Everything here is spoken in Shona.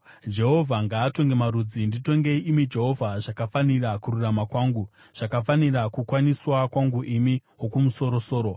Jehovha ngaatonge marudzi. Nditongei, imi Jehovha, zvakafanira kururama kwangu, zvakafanira kukwaniswa kwangu, imi Wokumusoro-soro.